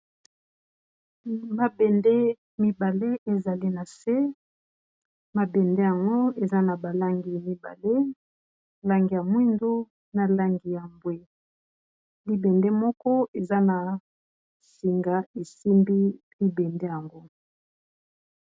Mabende mibale ezali na se, mabende yango eza na ba langi mibale langi ya mwindu, na langi ya mbwe. Libende moko eza na singa esimbi libende yango.